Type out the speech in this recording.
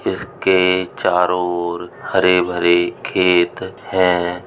इसके चारो ओर हरे- भरे खेत हैं।